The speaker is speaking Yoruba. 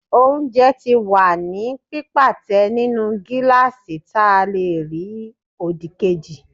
oúnjẹ ti wa ni pipátẹ nínú gilasí ta le rí odíkejí